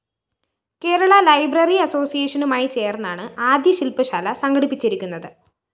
Kerala library അസോസ്സിയേഷനുമായി ചേര്‍ന്നാണ് ആദ്യ ശില്‍പശാല സംഘടിപ്പിച്ചിരിക്കുന്നത്